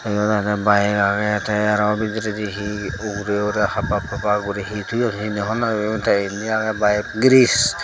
yot aroh bayeg agey teh aroh bidireh dee ugurey ugurey happap happap gori he toyon hejeni hobor naw fem ty ini agey baye griz.